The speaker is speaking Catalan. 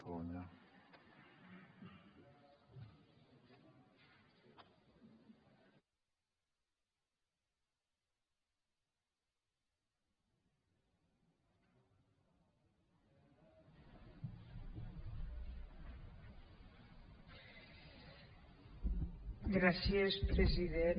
gràcies president